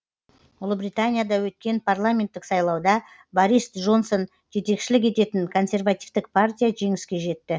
ұлыбританияда өткен парламенттік сайлауда борис джонсон жетекшілік ететін консервативтік партия жеңіске жетті